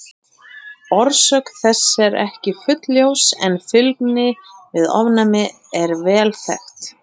Orsök þess er ekki fullljós en fylgni við ofnæmi er vel þekkt.